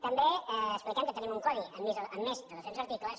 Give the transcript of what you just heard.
també expliquem que tenim un codi amb més de doscents articles